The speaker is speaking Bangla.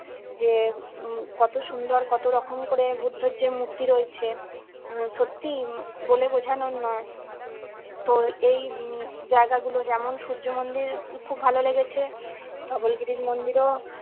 যে উম কত সুন্দর কত রকম করে বুদ্ধর যে মূর্তি রয়েছে উম সত্যিই বলে বোঝানোর নয়। তো এই উম জায়গা গুলো যেমন সূর্য মন্দির খুব ভালো লেগেছে। ধবলগিরি মন্দিরও